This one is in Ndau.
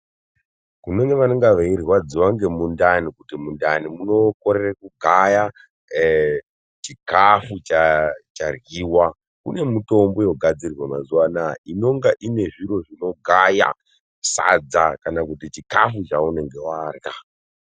Kune vanenge veirwadziwa ngemundani kuti mundani munokorere kugaya eee chikafu charyiwa , kune mitombo yogadzirwa mazuwanaya inonga inezviro zvinogaya sadza kana kuti chikafu chaunenge warya.